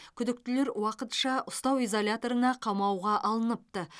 күдіктілер уақытша ұстау изоляторына қамауға алыныпты